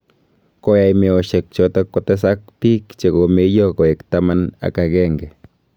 Koyai meoshek choto kotesak biik che ko meeiyo koek taman ak agenge